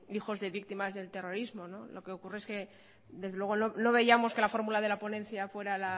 hijos de víctimas del terrorismo lo que ocurre es que desde luego no veíamos que la fórmula de la ponencia fuera